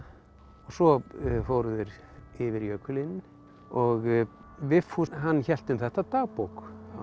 svo fóru þeir yfir jökulinn og Vigfús hann hélt um þetta dagbók